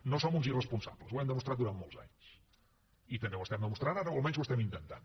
no som uns irresponsables ho hem demostrat durant molts anys i també ho estem demostrant ara o almenys ho estem intentant